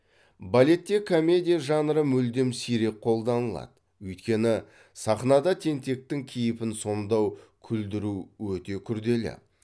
балетте комедия жанры мүлдем сирек қолданылады өйткені сахнада тентектің кейіпін сомдау күлдіру өте күрделі